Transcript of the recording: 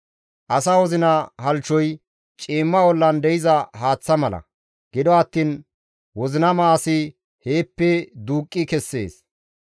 Asa wozina halchchoy ciimma ollan de7iza haaththa mala; gido attiin wozinama asi heeppe duuqqi kessees.